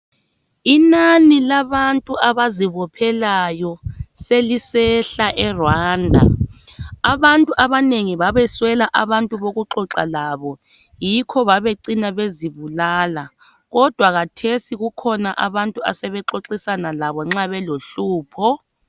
Inani labantu abazibophelayo selisehla eRwanda abantu abanengi babeswela abantu bokuxoxa labo yikho babecina bezibophela bezibulala kodwa khathesi kukhona abantu asebexoxisana labobnxa belohlupho.